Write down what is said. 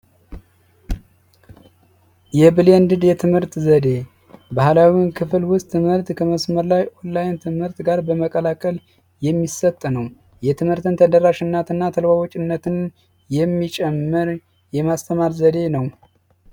የብሌንድ የትምህርት ዘዴ ባህላዊ ክፍል ውስጥ ትምህርት ከመስመር ላይ ትምህርት ጋር በመቀላቀል የሚሰጥ ነው የትምህርት የሚጨመር የማስተማር ዘዴ ነው